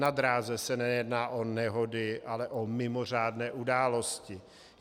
Na dráze se nejedná o nehody, ale o mimořádné události.